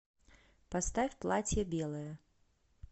поставь платье белое